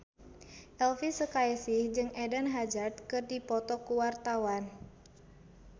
Elvi Sukaesih jeung Eden Hazard keur dipoto ku wartawan